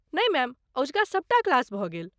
नहि मैम। अजुका सबटा क्लास भऽ गेल।